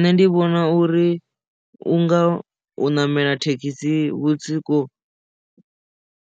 Nṋe ndi vhona uri u nga u ṋamela thekhisi vhusiku